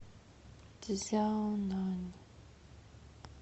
цзяонань